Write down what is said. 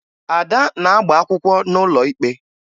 Ada na-agba akwụkwọ n'ụlọ ikpe